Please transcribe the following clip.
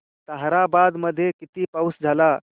ताहराबाद मध्ये किती पाऊस झाला